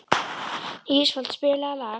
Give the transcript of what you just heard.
Ísfold, spilaðu lag.